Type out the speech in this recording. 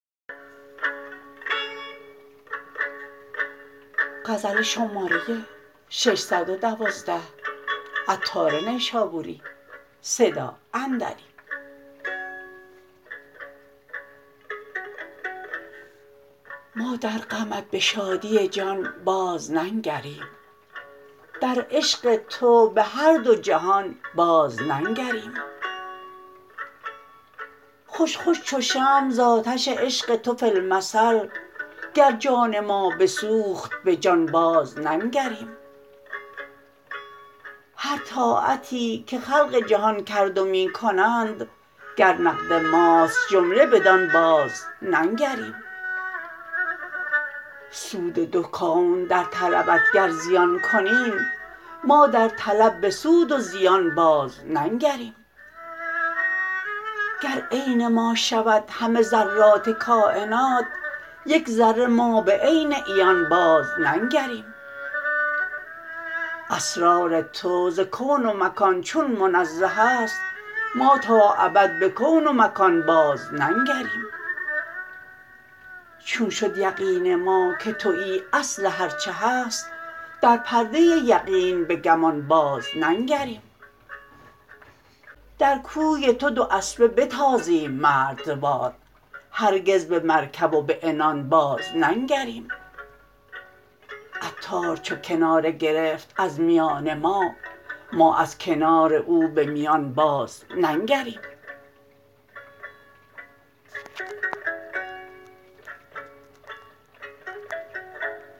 ما در غمت به شادی جان باز ننگریم در عشق تو به هر دو جهان باز ننگریم خوش خوش چو شمع ز آتش عشق تو فی المثل گر جان ما بسوخت به جان باز ننگریم هر طاعتی که خلق جهان کرد و می کنند گر نقد ماست جمله بدان باز ننگریم سود دو کون در طلبت گر زیان کنیم ما در طلب به سود و زیان باز ننگریم گر عین ما شود همه ذرات کاینات یک ذره ما به عین عیان باز ننگریم اسرار تو ز کون و مکان چون منزه است ما تا ابد به کون و مکان باز ننگریم چون شد یقین ما که تویی اصل هرچه هست در پرده یقین به گمان باز ننگریم در کوی تو دو اسبه بتازیم مردوار هرگز به مرکب و به عنان باز ننگریم عطار چو کناره گرفت از میان ما ما از کنار او به میان باز ننگریم